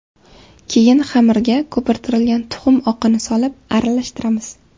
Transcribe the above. Keyin xamirga ko‘pirtirilgan tuxum oqini solib aralashtiramiz.